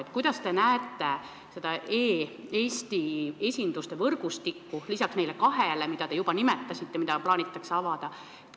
Millisena te näete e-Eesti esinduste võrgustikku, lisaks neile kahele esindusele, mille kohta te juba nimetasite, et neid plaanitakse avada?